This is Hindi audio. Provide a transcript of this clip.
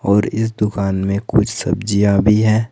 और इस दुकान में कुछ सब्जियां भी हैं।